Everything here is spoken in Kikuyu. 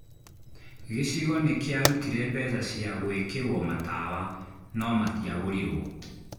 Gĩcigo nĩkĩarũtire mbeca cia gũĩkĩrwo matawa no matiagũrirwo